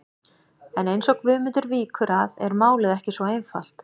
En eins og Guðmundur víkur að er málið ekki svo einfalt.